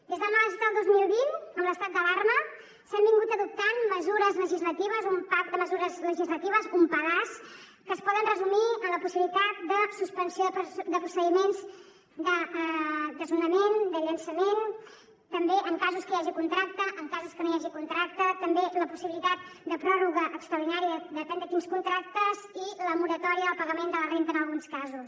des de març del dos mil vint amb l’estat d’alarma s’han adoptat mesures legislatives un paquet de mesures legislatives un pedaç que es poden resumir en la possibilitat de suspensió de procediments de desnonament de llançament també en casos que hi hagi contracte en casos que no hi hagi contracte també en la possibilitat de pròrroga extraordinària en depèn de quins contractes i la moratòria del pagament de la renda en alguns casos